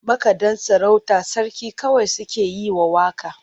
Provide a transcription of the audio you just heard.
Makaɗan sarauta sarki kawai suke yi wa waƙa.